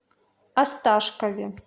осташкове